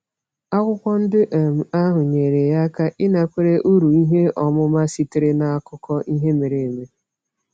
Akwụkwọ ndị um ahụ nyere ya aka ịnakwere uru ihe ọmụma sitere n’akụkọ ihe mere eme.